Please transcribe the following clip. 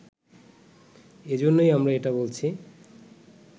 এজন্যই আমরা এটা বলছি